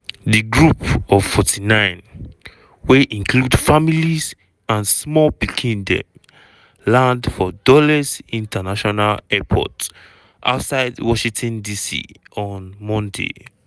di group of 49 wey include families and small pikin dem land for dulles international airport outside washington dc on monday.